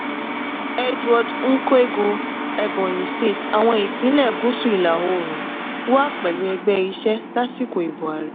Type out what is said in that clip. edward nkwegu ebonyi state - àwọn ìpínlẹ̀ gúúsù ìlà-oòrùn wà pẹ̀lú ẹgbẹ́ iṣẹ́ lásìkò ìbò ààrẹ.